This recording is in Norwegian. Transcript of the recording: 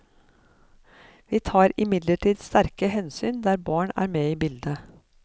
Vi tar imidlertid sterke hensyn der barn er med i bildet.